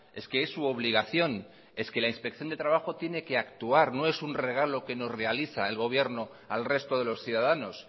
es que es su obligación es que la inspección de trabajo tiene que actuar no es un regalo que nos realiza el gobierno al resto de los ciudadanos